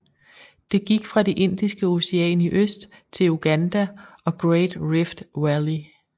Det gik fra det Indiske Ocean i øst til Uganda og Great Rift Valley